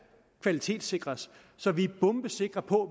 kvalitetssikres så vi er bombesikre på